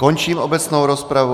Končím obecnou rozpravu.